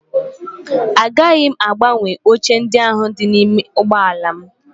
Agaghị m agbanwe oche ndị ahụ dị n'ime ụgbọala m